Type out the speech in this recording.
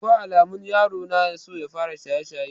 Akwai alamun yaron na so ya fara shaye-shaye.